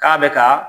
K'a bɛ ka